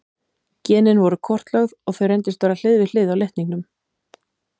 Genin voru kortlögð og þau reyndust vera hlið við hlið á litningnum.